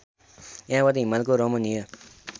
यहाँबाट हिमालको रमणीय